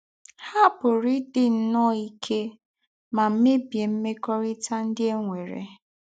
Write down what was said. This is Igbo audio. Há pụ̀rà ídí nnọọ íké mà mèbíé mmékọ́rítà ndí́ é nwèrè.